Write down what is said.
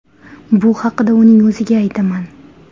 Bu haqda uning o‘ziga aytaman.